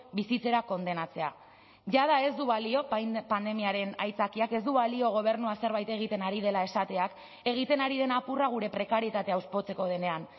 bizitzera kondenatzea jada ez du balio pandemiaren aitzakiak ez du balio gobernua zerbait egiten ari dela esateak egiten ari den apurra gure prekarietatea hauspotzeko denean